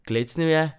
Klecnil je.